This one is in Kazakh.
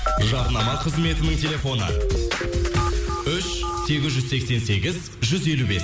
жарнама қызметінің телефоны үш сегіз жүз сексен сегіз жүз елу бес